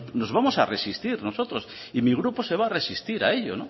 nos vamos a resistir nosotros y mi grupo se va a resistir a ello